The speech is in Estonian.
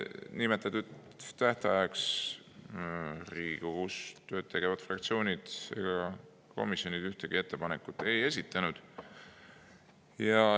Nimetatud tähtajaks Riigikogus tööd tegevad fraktsioonid ega komisjonid ühtegi ettepanekut ei esitanud.